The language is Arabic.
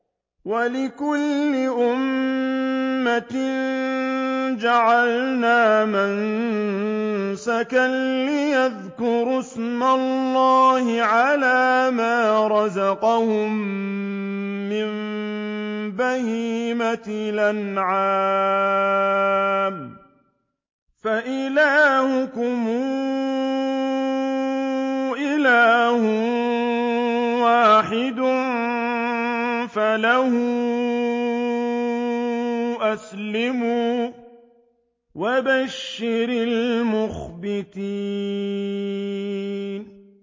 وَلِكُلِّ أُمَّةٍ جَعَلْنَا مَنسَكًا لِّيَذْكُرُوا اسْمَ اللَّهِ عَلَىٰ مَا رَزَقَهُم مِّن بَهِيمَةِ الْأَنْعَامِ ۗ فَإِلَٰهُكُمْ إِلَٰهٌ وَاحِدٌ فَلَهُ أَسْلِمُوا ۗ وَبَشِّرِ الْمُخْبِتِينَ